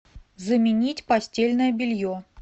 заменить постельное белье